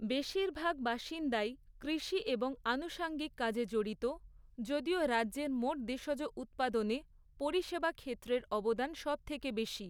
বেশিরভাগ বাসিন্দাই কৃষি এবং আনুষঙ্গিক কাজে জড়িত, যদিও রাজ্যের মোট দেশজ উৎপাদনে পরিষেবা ক্ষেত্রের অবদান সবথেকে বেশি।